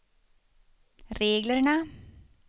reglerna